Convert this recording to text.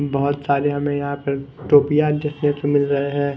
बहुत सारे हमें यहां पर टोपिया देखने को मिल रहे हैं।